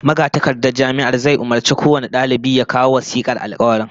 Magatakardar Jami'ar zai umurci kowane dalibi ya kawo wasikar alkawarin